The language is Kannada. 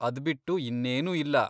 ಅದ್ಬಿಟ್ಟು ಇನ್ನೇನೂ ಇಲ್ಲ.